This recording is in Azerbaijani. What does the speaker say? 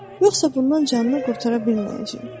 Yoxsa bundan canını qurtara bilməyəcək.